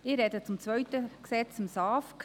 Ich spreche zum zweiten Gesetz, dem SAFG.